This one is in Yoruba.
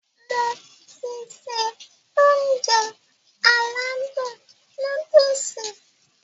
Mo ti se Ounjẹ aládùn nóódùsì